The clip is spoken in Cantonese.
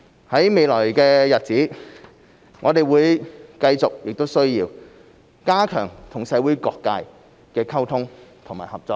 在未來的日子，我們會繼續亦需要加強與社會各界溝通和合作。